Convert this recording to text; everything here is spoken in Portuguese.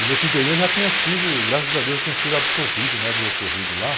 E nesse interior já tinha sido, graças a Deus, já tinha sido absolvido, né? Do ocorrido lá.